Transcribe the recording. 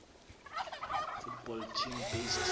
football team based